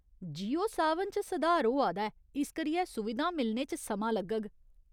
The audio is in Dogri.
जियो सावन च सुधार होआ दा ऐ, इस करियै सुविधां मिलने च समां लग्गग।